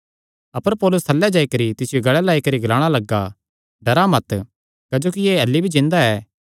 अपर पौलुस थल्लैं जाई करी तिसियो गल़ें लाई करी ग्लाणा लग्गा डरा मत क्जोकि एह़ अह्ल्ली भी जिन्दा ऐ